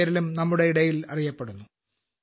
എന്ന പേരിലും നമ്മുടെ ഇടയിൽ അറിയപ്പെടുന്നു